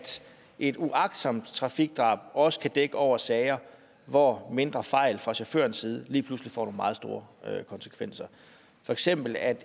et uagtsomt trafikdrab også kan dække over sager hvor mindre fejl fra chaufførens side lige pludselig får nogle meget store konsekvenser for eksempel at